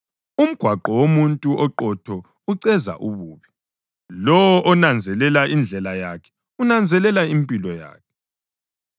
Umgwaqo womuntu oqotho uceza ububi; lowo onanzelelayo indlela yakhe unanzelela impilo yakhe.